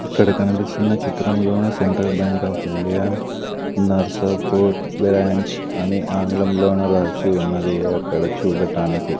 ఇక్కడ కనిపిస్తున్న చిత్రంలోన central bank of India Narsapur branch అని ఆంగ్లంలోన రాసి ఉన్నది అక్కడ చూడటానికి.